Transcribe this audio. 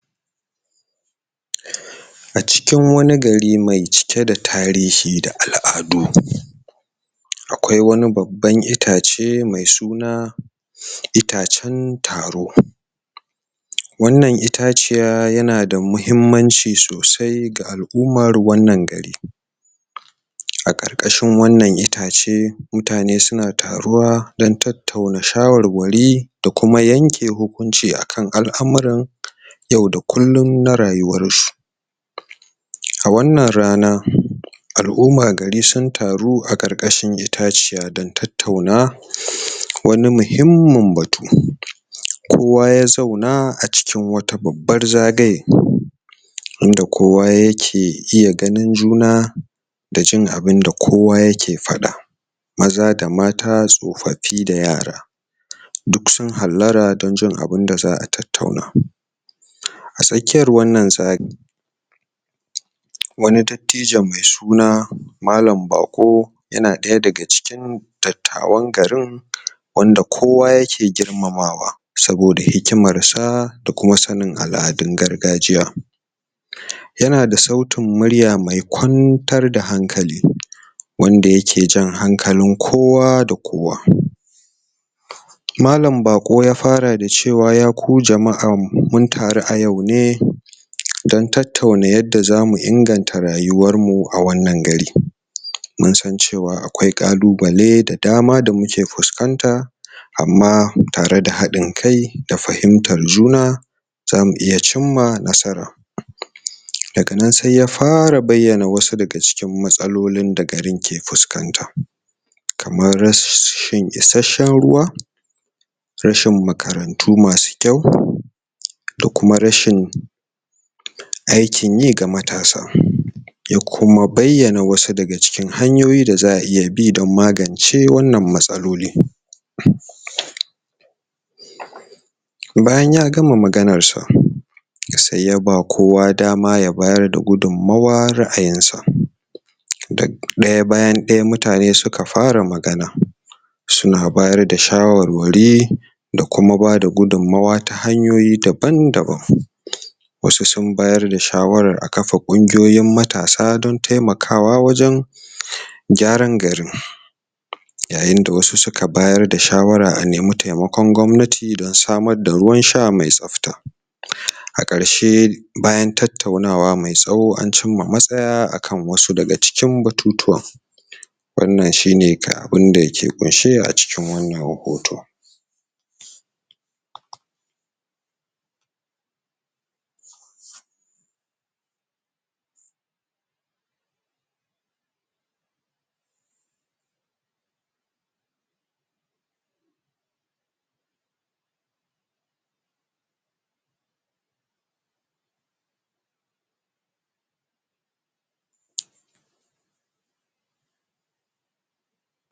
? a cikin wani gari mai cike da tarihi da al'adu akwai wani babban itace mai suna itacen taro? wannan itaciya yana da mahimmanci sosai ga al'umar wannan gari? a ƙarƙashin wannan itace mutane suna taruwa don tattauna shawarwari da kuma yanke hukunci akan al'amuran? yau da kullun na rayuwarsu? a wannan rana al'uma gari sun taru a ƙarƙashin itaciya don tattauna? wani muhimmin batu? kowa ya zauna a cikin wata babbar zagaye inda kowa yake iya ganin juna da jin abinda kowa yake faɗa maza da mata tsofaffi da yara? duk sun hallara don jin abunda za'a tattauna a tsakiyar wannan za? wani dattijo me suna malan baƙo yana ɗaya daga cikin dattawan garin wanda kowa yake girmamawa saboda hikimarsa da kuma sanin al'adun gargajiya? yana da sautin murya mai kwantar da hankali wanda yake jan hankalin kowa da kowa? malan baƙo ya fara da cewa ya ku jama'a mun taru a yau ne don tattauna yadda zamu inganta rayuwarmu a wannan gari? mun san cewa akwai ƙalubale da dama da muke fuskanta amma tare da haɗin kai da fahimtar juna zamu iya cimma nasara? daga nan sai ya fara bayyana wasu daga cikin matsalolin da garin ke fuskanta kamar ras shin isasshen ruwa rashin makarantu masu kyau da kuma rashin aikin yi ga matasa ya kuma bayyana wasu daga cikin hanyoyi da za'a iya bi don magance wannan matsaloli??? bayan ya gama maganarsa sai ya ba kowa dama ya bayar da gudunmawar ra'ayinsa da ɗaya bayan ɗaya mutane su ka fara magana suna bayar da shawarwari da kuma bada gudunmawa ta hanyoyi daban daban? wasu sun bayar da shawarar a kafa ƙungiyoyin matasa don taimakawa wajen? gyaran garin? yayin da wasu suka bayar da shawara a nemi taimakon gwamnati don samar da ruwan sha me tsafta? a ƙarshe bayan tattaunawa mai tsawo an cimma matsaya akan wasu daga cikin batutuwan wannan shine ka abunda ke ƙunshe a cikin wannan hoto?